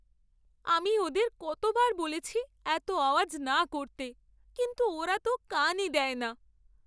আমি ওদের কতবার বলেছি এত আওয়াজ না করতে, কিন্তু ওরা তো কানই দেয় না।